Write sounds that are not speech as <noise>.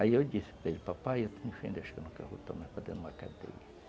Aí eu disse para ele, papai, <unintelligible> uma cadeia